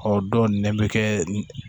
Ɔ dɔw nɛn bɛ kɛ